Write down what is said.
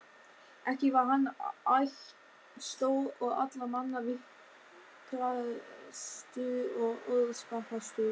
Ekki var hann ættstór og allra manna vitrastur og orðspakastur.